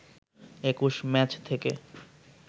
২১ match থেকে